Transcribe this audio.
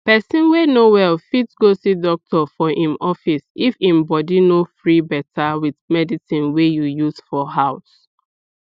person wey no well fit go see doctor for im office if im body no free better with medicine wey you use for house